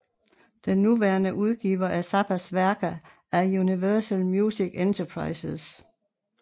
Den nuværende udgiver af Zappas værker er Universal Music Enterprises